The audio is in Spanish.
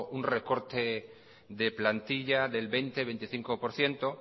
un recorte de plantilla del veinte veinticinco por ciento